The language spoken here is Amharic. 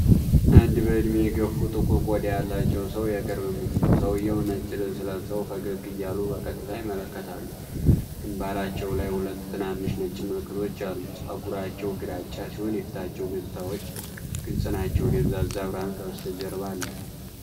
አንድ በዕድሜ የገፉ፣ ጥቁር ቆዳ ያላቸው ሰው የቅርብ ምስል። ሰውየው ነጭ ልብስ ለብሰው ፈገግ እያሉ በቀጥታ ይመለከታሉ። ግንባራቸው ላይ ሁለት ትናንሽ ነጭ ምልክቶች አሉ። ፀጉራቸው ግራጫ ሲሆን የፊታቸው ገፅታዎች ግልጽ ናቸው። ደብዛዛ ብርሃን ከበስተጀርባ አለ።